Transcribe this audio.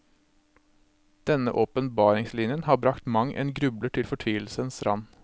Denne åpenbaringslinjen har bragt mang en grubler til fortvilelsens rand.